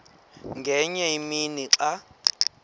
ngenye imini xa